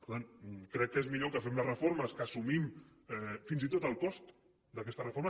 per tant crec que és millor que fem les reformes que assumim fins i tot el cost d’aquestes reformes